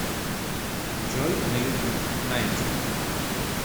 джой на ютуб найти